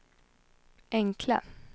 enkla